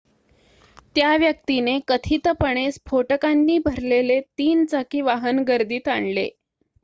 त्या व्यक्तीने कथितपणे स्फोटकांनी भरलेले 3-चाकी वाहन गर्दीत आणले